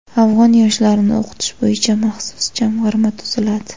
Afg‘on yoshlarini o‘qitish bo‘yicha maxsus jamg‘arma tuziladi.